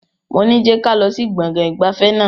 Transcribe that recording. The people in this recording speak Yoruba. Moní je kálọ̀ sí gbọ̀ngàn ìgbafẹ́ náà!